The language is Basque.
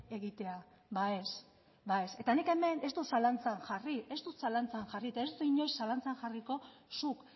egitea ba ez ba ez eta nik hemen ez dut zalantzan jarri ez dut zalantzan jarri eta ez dut inoiz zalantzan jarriko zuk